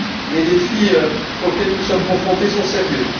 Les défis auxquels nous sommes confrontés sont sérieux.